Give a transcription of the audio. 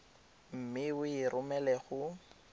mme o e romele go